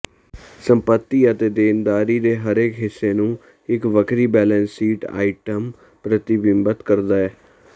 ਸੰਪੱਤੀ ਅਤੇ ਦੇਣਦਾਰੀ ਦੇ ਹਰੇਕ ਹਿੱਸੇ ਨੂੰ ਇੱਕ ਵੱਖਰੀ ਬੈਲੈਂਸ ਸ਼ੀਟ ਆਈਟਮ ਪ੍ਰਤੀਬਿੰਬਤ ਕਰਦਾ ਹੈ